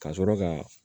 Ka sɔrɔ ka